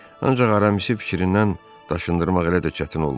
Ancaq Aramisi fikrindən daşındırmaq elə də çətin olmadı.